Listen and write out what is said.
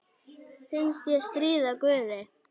Finnst ég stríða guði.